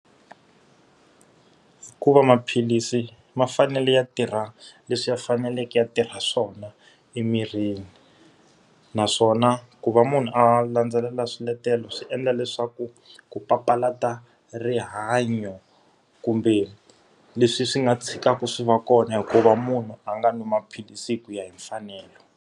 Ku va maphilisi ma fanele ya tirha leswi ya faneleke a tirha swona emirini. Naswona ku va munhu a landzelela swiletelo swi endla leswaku ku papalata rihanyo kumbe leswi swi nga tshikaka swi va kona hi ku va munhu a nga nwi maphilisi ku ya hi mfanelo.